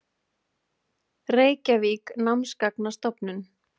Reykjavík: Námsgagnastofnun.